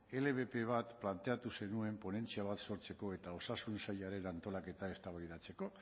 lbp bat planteatu zenuen ponentzia bat sortzeko eta osasun sailaren antolaketa eztabaidatzeko